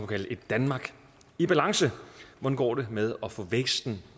kalde et danmark i balance hvordan går det med at få væksten